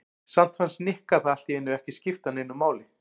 Samt fannst Nikka það allt í einu ekki skipta neinu máli.